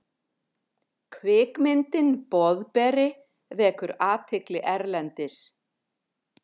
Kvikmyndin Boðberi vekur athygli erlendis